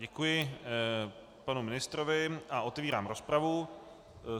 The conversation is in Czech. Děkuji panu ministrovi a otevírám rozpravu.